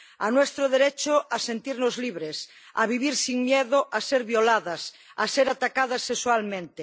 a nuestro derecho a sentirnos libres, a vivir sin miedo a ser violadas, a ser atacadas sexualmente.